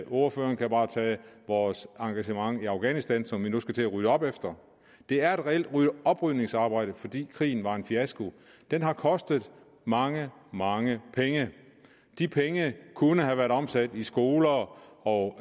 ordføreren kan bare tage vores engagement i afghanistan som vi nu skal til at rydde op efter det er et reelt oprydningsarbejde fordi krigen var en fiasko den har kostet mange mange penge de penge kunne have været omsat i skoler og